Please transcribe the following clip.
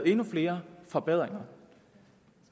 endnu flere forbedringer